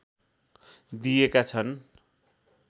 दिएका छन्।